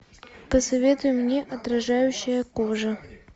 посоветуй мне отражающая кожа